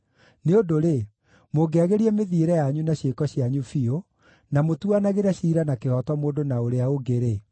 Nĩ ũndũ-rĩ, mũngĩagĩria mĩthiĩre yanyu na ciĩko cianyu biũ, na mũtuanagĩre ciira na kĩhooto mũndũ na ũrĩa ũngĩ-rĩ,